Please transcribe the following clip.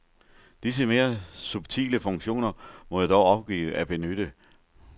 Disse mere subtile funktioner må jeg dog opgive at benytte.